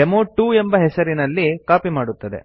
ಡೆಮೊ2 ಎಂಬ ಹೆಸರಿನಲ್ಲಿ ಕಾಪಿ ಮಾಡುತ್ತದೆ